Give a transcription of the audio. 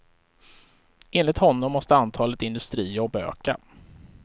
Enligt honom måste antalet industrijobb öka.